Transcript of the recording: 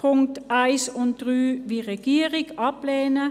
Sie wird die Punkte 1 und 3 – wie die Regierung – ablehnen.